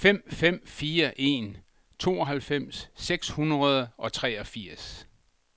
fem fem fire en tooghalvfems seks hundrede og treogfirs